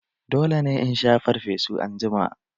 Dole ne in sha farfesu anjima!